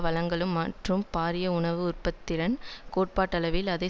வழங்களும் மற்றும் பாரிய உணவு உற்பத்தி திறன் கோட்பாட்டளவில் அதை